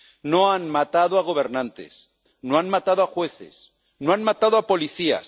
No han matado a gobernantes, no han matado a jueces, no han matado a policías.